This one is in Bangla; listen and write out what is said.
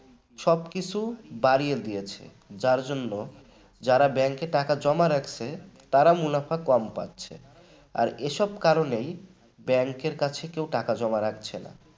সবকিছু বাড়িয়ে দিয়েছে যার জন্য যারা bank টাকা জমা রাখছে তারা মুনাফা কম পাচ্ছে আর এসব কারণেই bank র কাছে কেউ টাকা জমা রাখছে না ।